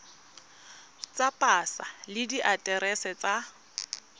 tsa pasa le diaterese tsa